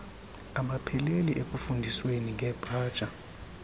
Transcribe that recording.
abapheleli ekufundisweni ngepaja